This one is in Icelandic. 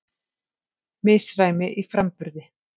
Misræmi í framburði